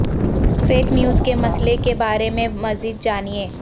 fake news کے مسئلے کے بارے میں مزید جانیے